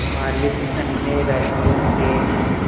मालिक अन्य राज्यों के हैं